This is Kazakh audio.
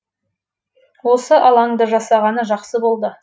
осы алаңды жасағаны жақсы болды